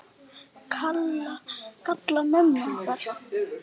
Kalla á mömmur okkar?